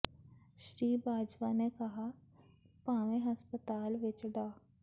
ਸ੍ਰੀ ਬਾਜਵਾ ਨੇ ਕਿਹਾ ਕਿ ਭਾਵੇਂ ਹਸਪਤਾਲ ਵਿੱਚ ਡਾ